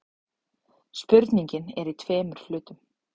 Spurningin er í tveimur hlutum.